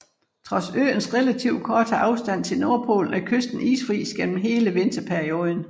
Trods øens relativt korte afstand til Nordpolen er kysten isfri gennem hele vinterperioden